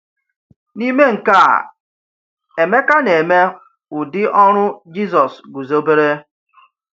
N’ime nke a, Emeka na-eme ụdị ọrụ Jisọs guzobere.